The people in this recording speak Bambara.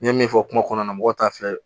N ye min fɔ kuma kɔnɔna na mɔgɔw t'a filɛ